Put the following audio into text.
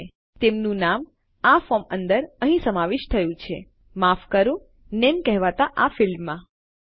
અને તેમનું નામ આ ફોર્મ અંદર અહીં સમાવેશ થયું છે માફ કરો નામે કહેવાતા આ ફીલ્ડમાં અહીં